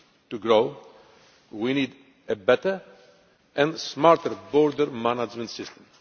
to grow, we need a better and smarter border management system.